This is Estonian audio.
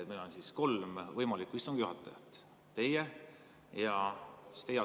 Meil on kolm võimalikku istungi juhatajat: teie ja teie asetäitjad.